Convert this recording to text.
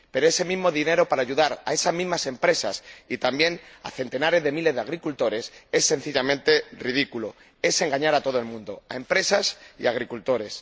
Pero ese mismo dinero para ayudar a esas mismas empresas, y también a centenares de miles de agricultores, es sencillamente ridículo, es engañar a todo el mundo, a empresas y a agricultores.